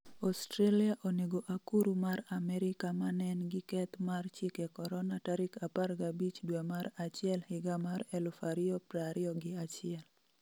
Australia onego akuru mar Amerika 'manen gi keth mar chike corona ' tarik 15 due mar achiel 2021